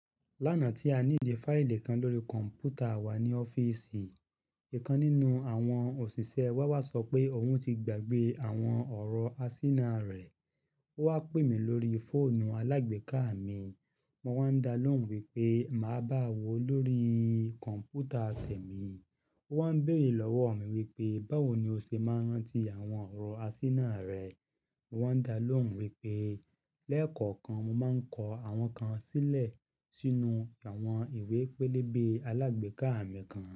Lánàá tí a níìdí fáìlì kan lórí kọ̀m̀pútà wá ní ọ́fíìsì, ìkan nínú àwọn òṣìṣẹ́ wá wá sọ pé òun ti gbàgbé àwọn ọ̀rọ̀ àsínà rẹ̀. Ó wá pè mí lórí fóònù alágbèéká mi. Mo wá ń dá lóhùn wípé màá bá a wò ó lórí kọ̀m̀pútà tẹ̀ mi. Ó wá ń béèrè lọ́wọ́ mi wípé, báwo ni o ṣe máa ń rántí àwọn ọ̀rọ̀ àsínà rẹ? Mo wá ń dá lóhùn wípé, lẹ́ẹ̀kọ̀kan mo máa ń kọ àwọn kan sílẹ̀ sínú àwọn ìwé pélébé alágbèéká mi kan.